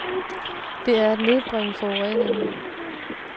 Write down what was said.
Det er at nedbringe forureningen.